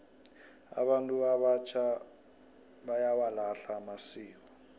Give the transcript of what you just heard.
abantu abatjha bayawalahla amasiko